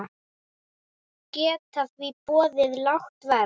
Geta því boðið lágt verð.